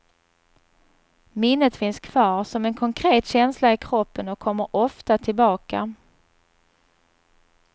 Minnet finns kvar som en konkret känsla i kroppen och kommer ofta tillbaka.